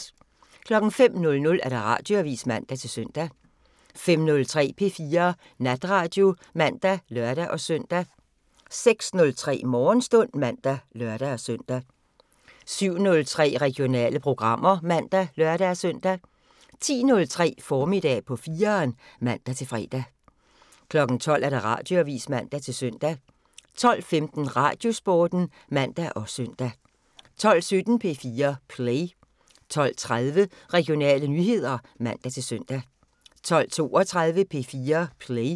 05:00: Radioavisen (man-søn) 05:03: P4 Natradio (man og lør-søn) 06:03: Morgenstund (man og lør-søn) 07:03: Regionale programmer (man og lør-søn) 10:03: Formiddag på 4'eren (man-fre) 12:00: Radioavisen (man-søn) 12:15: Radiosporten (man og søn) 12:17: P4 Play 12:30: Regionale nyheder (man-søn) 12:32: P4 Play